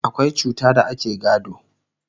akwai cuta da ake gado